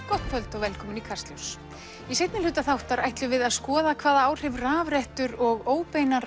gott kvöld og velkomin í Kastljós í seinni hluta þáttar ætlum við að skoða hvaða áhrif rafrettur og óbeinar